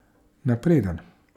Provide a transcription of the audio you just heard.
Napreden.